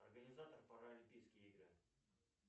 организатор паралимпийские игры